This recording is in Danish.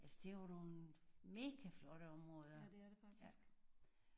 Altså det er jo nogen mega flotte områder ja